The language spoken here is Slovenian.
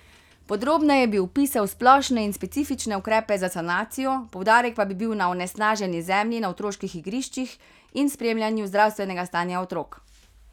Podrobneje bi opisal splošne in specifične ukrepe za sanacijo, poudarek pa bi bil na onesnaženi zemlji na otroških igriščih in spremljanju zdravstvenega stanja otrok.